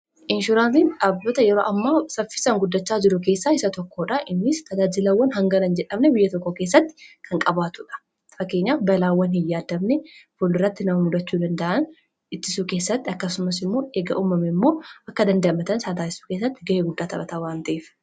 Inshuraansiin dhaabbata yeroo ammaa saffisaan guddachaa jiru keessaa isa tokkoodha. Innis tajaajilawwan hangana hin jedhamne biyya tokko keessatti kan qabaatudh. Fakkeenya balaawwan hin yaaddamne boodarratti nama mudachuu danda'an ittisuu keessatti akkasumas immoo erga uumamee immoo akka dandamatan taasisuu keessatti ga'ee guddaa taphata waan te'ef.